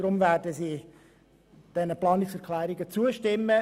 Deshalb werden sie diesen Planungserklärungen zustimmen.